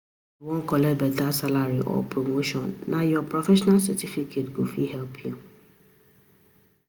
If u wan collect beta salary or promotion, nah ur professional certificate go fit help u.